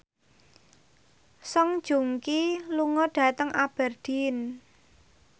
Song Joong Ki lunga dhateng Aberdeen